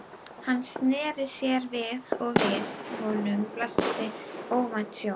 Hann sneri sér við og við honum blasti óvænt sjón.